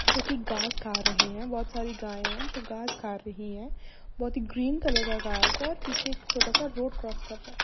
जो कि गास खा रहे हैं। बोहोत सारी गायें हैं जो गास खा रही हैं। बोहोत ही ग्रीन कलर का गास है और पीछे एक छोटा सा रोड क्रॉस कर रहा है।